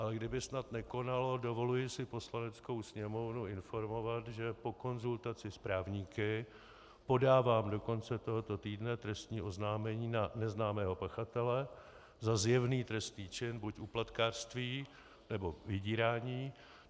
Ale kdyby snad nekonalo, dovoluji si Poslaneckou sněmovnu informovat, že po konzultaci s právníky podávám do konce tohoto týdne trestní oznámení na neznámého pachatele za zjevný trestný čin - buď úplatkářství, nebo vydírání.